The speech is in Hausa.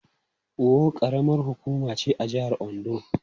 Owo karamar hukuma ce a jihar Ondo.